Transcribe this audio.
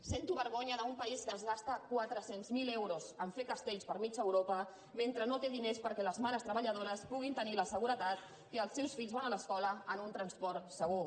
sento vergonya d’un país que es gasta quatre cents miler euros a fer castells per mitja europa mentre no té diners perquè les mares treballadores puguin tenir la seguretat que els seus fills van a l’escola en un transport segur